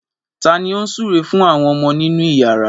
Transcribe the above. Ta ni ó ń súre fún àwọn ọmọ nínú ìyàrá?